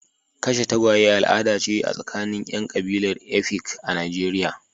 Kashe tagwaye al'ada ce a tsakanin 'yan kabilar Efik a Najeriya.